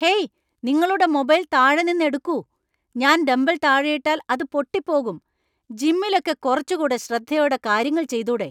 Hey, നിങ്ങളുടെ mobile താഴെ നിന്ന് എടുക്കൂ ,ഞാൻ ഡംബല്‍ താഴെ ഇട്ടാൽ അത് പൊട്ടി പോകും, ജിമ്മിലൊക്കെ കുറച്ചു കൂടെ ശ്രദ്ധയോടെ കാര്യങ്ങൾ ചെയ്തൂടെ .